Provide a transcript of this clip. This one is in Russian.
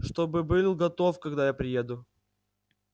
чтобы был готов когда я приеду